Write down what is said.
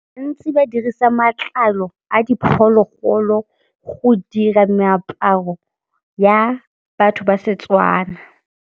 Ntsi ba dirisa matlalo a diphologolo go dira meaparo ya batho ba Setswana.